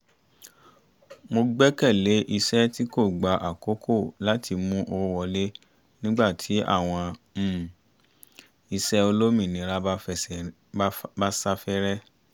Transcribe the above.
mo gbẹ́kẹ̀lé iṣẹ́ tí kò gba àkókò láti mú owó wọlé nígbà tí àwọn um iṣẹ́ olómìnira bá sáfẹ́rẹ́